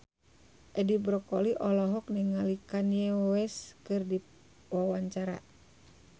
Edi Brokoli olohok ningali Kanye West keur diwawancara